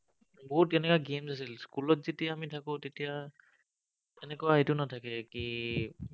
বহুত তেনেকুৱা games আছিল। school ত যেতিয়া আমি থাকো, তেতিয়া এনেকুৱা এইটো নাথাকে, কি